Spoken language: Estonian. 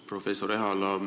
Professor Ehala!